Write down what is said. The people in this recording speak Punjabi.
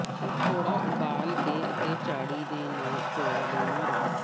ਥੋੜਾ ਉਬਾਲ ਕੇ ਅਤੇ ਝਾੜੀ ਦੇ ਨਾਲ ਕੋਰੜੇ ਮਾਰੋ